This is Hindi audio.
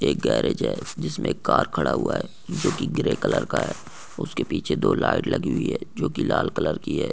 एक गॅरेज है जिसमे एक कार खड़ा हुआ है जो की ग्रे कलर का है उसके पिछे दो लाइट लगी हुई है जो की लाल कलर की है।